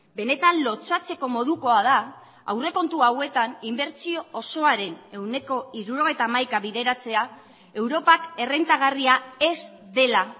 benetan lotsatzeko modukoa da aurrekontu hauetan inbertsio osoaren ehuneko hirurogeita hamaikaa bideratzea europak errentagarria ez dela